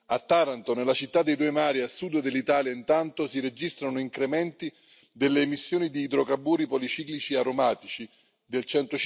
A Taranto, nella città dei due mari, a sud dell'Italia, intanto, si registrano incrementi delle emissioni di idrocarburi policiclici aromatici del